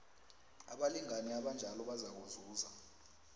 abalingani abanjalo bazakuzuza